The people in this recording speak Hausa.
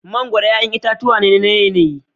Mangoro 'ƴa'ƴan itatuwa ne na yanayi.